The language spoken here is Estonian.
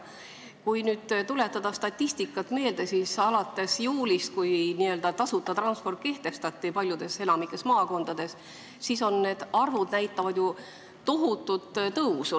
Kui nüüd tuletada meelde statistikat, siis alates juulist, kui tasuta transport kehtestati enamikus maakondades, on sõitjate arv ju tohutult tõusnud.